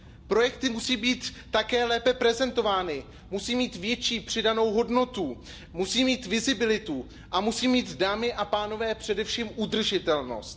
Projekty musí být také lépe prezentovány, musí mít větší přidanou hodnotu, musí mít vizibilitu a musí mít, dámy a pánové, především udržitelnost.